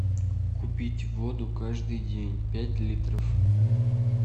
купить воду каждый день пять литров